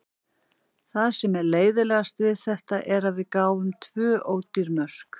Það sem er leiðinlegast við þetta er að við gáfum tvö ódýr mörk.